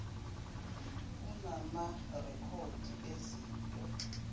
unama rekhodi ezinto